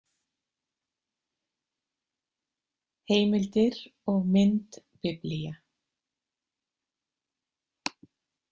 Heimildir og mynd Biblía.